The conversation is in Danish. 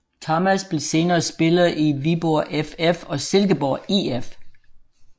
Thomas blev senere spiller i Viborg FF og Silkeborg IF